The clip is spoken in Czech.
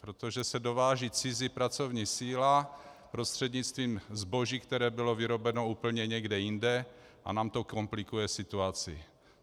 Protože se dováží cizí pracovní síla prostřednictvím zboží, které bylo vyrobeno úplně někde jinde, a nám to komplikuje situaci.